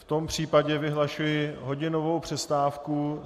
V tom případě vyhlašuji hodinovou přestávku.